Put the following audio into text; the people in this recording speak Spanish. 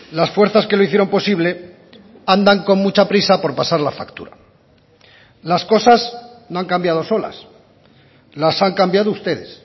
las fuerzas que lo hicieron posible andan con mucha prisa por pasar la factura las cosas no han cambiado solas las han cambiado ustedes